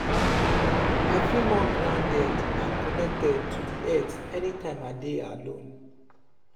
i feel more grounded and connected to di earth anytime i dey alone.